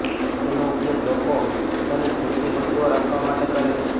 તેનો ઉપયોગ લોકો પોતાની કિમતી વસ્તુઓ રાખવા માટે કરે છે